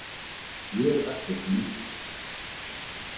Ég er ekkert lítill